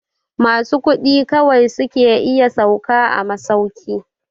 Masu kuɗi kawai su ke iya sauka a masauki.